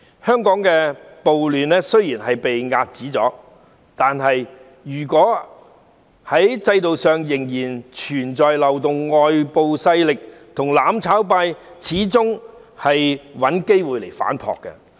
香港暴亂雖然被遏止，但如果制度上仍然存在漏洞，外部勢力和"攬炒派"始終會找機會反撲。